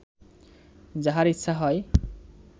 যাহার ইচ্ছা হয়